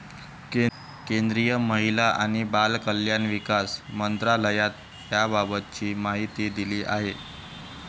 केंद्रीय महिला आणि बालकल्याण विकास मंत्रालयानं याबाबतची माहिती दिली आहे.